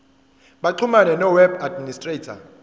baxhumane noweb administrator